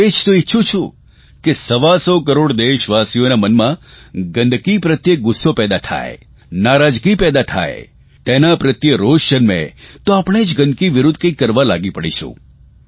હું એ જ તો ઇચ્છું છું કે સવાસો કરોડ દેશવાસીઓના મનમાં ગંદકી પ્રત્યે ગુસ્સો પેદા થાય નારાજગી પેદા થાય તેના પ્રત્યે રોષ જન્મે તો આપણે જ ગંદકી વિરૂદ્ધ કંઇક કરવા લાગી પડીશું